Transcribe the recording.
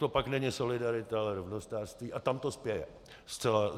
To pak není solidarita, ale rovnostářství, a tam to spěje.